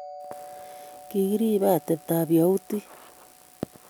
Kigiribe ateptab yahudik